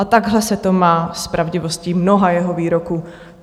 A takhle se to má s pravdivostí mnoha jeho výroků.